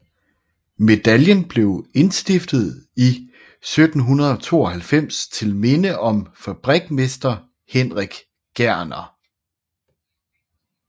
Medaljen blev indstiftet i 1792 til minde om fabrikmester Henrik Gerner